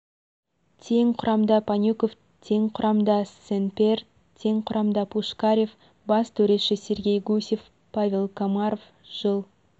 тең құрамда панюков тең құрамда сен-пьер тең құрамда пушкарв бас төреші сергей гусев павел комаров жыл